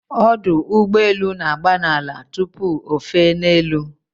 Ụgbọ elu na-agba n'ala tupu ofe n'elu